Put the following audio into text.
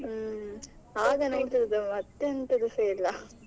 ಹ್ಮ್ ಆಗ ನೋಡ್ತಿದ್ದದ್ದು ಮತ್ತೆ ಎಂತದು ಸಾ ಇಲ್ಲ.